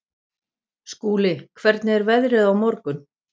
Skúli, hvernig er veðrið á morgun?